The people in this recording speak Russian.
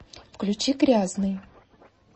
включи грязный